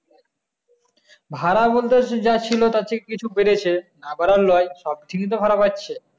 ভাড়া বলতে যা ছিল তার থেকে কিছু বেড়েছে না লয় সব দিকে ভাড়া বাড়ছে